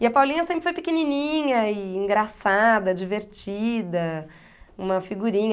E a Paulinha sempre foi pequenininha e engraçada, divertida, uma figurinha.